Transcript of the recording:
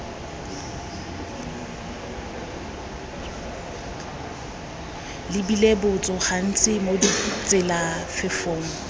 lebile botso gantsi mo ditselafefong